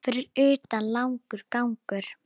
Fyrir utan langur gangur.